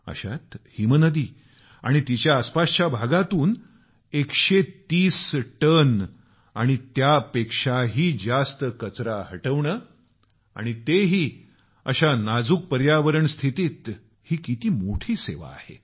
अशात हिमनदी आणि तिच्या आसपासच्या भागातून 130 टन आणि त्यापेक्षा जास्त कचरा हटवणं आणि तेही अशा नाजूक पर्यावरणस्थितीत किती मोठी ही सेवा आहे